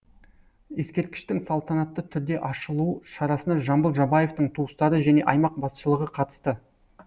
ескерткіштің салтанатты түрде ашылу шарасына жамбыл жабаевтың туыстары және аймақ басшылығы қатысты